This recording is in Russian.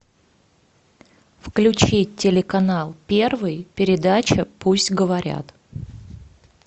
включи телеканал первый передача пусть говорят